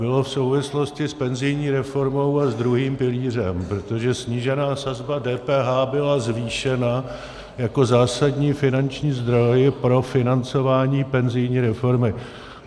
Bylo v souvislosti s penzijní reformou a s druhým pilířem, protože snížená sazba DPH byla zvýšena jako zásadní finanční zdroj pro financování penzijní reformy.